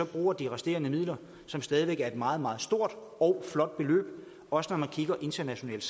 bruger de resterende midler som stadig væk er et meget meget stort og flot beløb også når man kigger internationalt